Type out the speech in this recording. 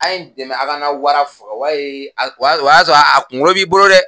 A ye dɛmɛ a ka n ka wara faga o y'a ye o y'a sɔrɔ o y'a sɔrɔ a kunkolo b'i bolo dɛ